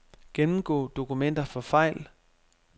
Gennemgå dokumenter for fejl.